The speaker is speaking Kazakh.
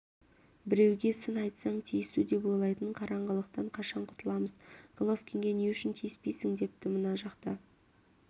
біреуге сын айтсаң тиісу деп ойлайтын қараңғылықтан қашан құтыламыз головкинге не үшін тиіспейсің депті мына жақта